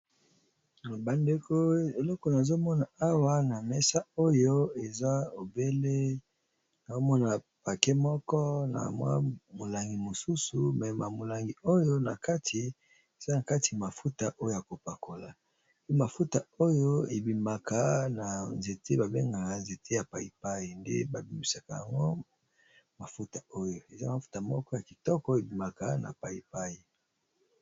bandeko eleko nazomona awa na mesa oyo eza obele pake moko na mwa molangi mosusu me molangi oyo na kati eza na kati mafuta oyo ya kopakola pe mafuta oyo ebimaka na nzete babengaka nzete ya paipai nde babimisaka yango mafuta oyo eza mafuta moko ya kitoko ebimaka na paipai